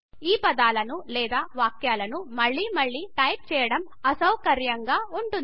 ఈ పదాలను లేదా వాక్యాలను మళ్ళి మళ్ళి టైపు చేయడం అసౌకర్యంగా ఉంటుంది